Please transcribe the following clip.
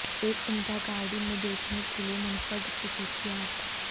ایک عمدہ گاڑی میں دیکھنے کے لئے منفرد خصوصیات